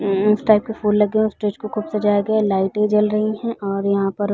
उम् इस टाइप के फुल लगे हुए है स्टेज को खूब सजाया गया है लाइटे जल रही है और यहाँ पर --